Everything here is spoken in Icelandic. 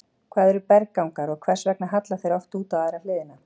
Hvað eru berggangar og hvers vegna halla þeir oft út á aðra hliðina?